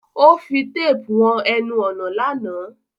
O fi tape won enun ònà lánàá